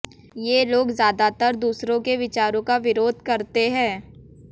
ये लोग ज्यादातर दूसरों के विचारों का विरोध करते हैं